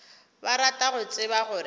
ba rata go tseba gore